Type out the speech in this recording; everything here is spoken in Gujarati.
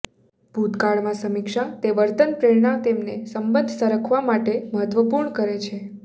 ભૂતકાળમાં સમીક્ષા તે વર્તન પ્રેરણા તેમના સંબંધ સરખાવવા માટે મહત્વપૂર્ણ છે